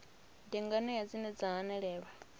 ndi nganea dzine dza hanelelwa